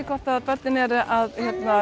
hvort að börnin eru að